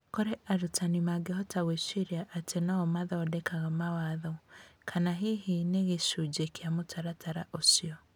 Kũrĩa arutani mangĩhota gwĩciria atĩ nĩo mathondekaga mawatho, kana hihi nĩ gĩcunjĩ kĩa mũtaratara ũcio.